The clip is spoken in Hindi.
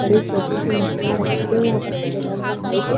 बड़ी-छोटी सी मछलिया रखी हुई है। यहाँ पर सफेद रंग का पाइप है।